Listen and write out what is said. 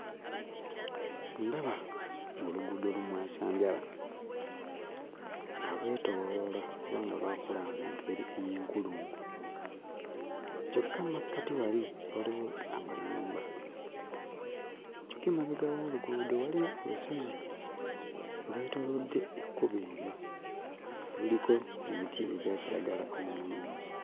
Ndaba oluguudo lumwasanjala nga lwetooloola oba nga lwakula mu ngeri ey'enkulungo. Kyokka mu makkati wali waliwo amayumba, kyokka emabega w'oluguudo waliyo olusozi olwetoolodde ekkubo eryo; luliko emiti egya kiragala omulungi.